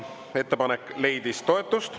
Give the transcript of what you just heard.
Ettepanek leidis toetust.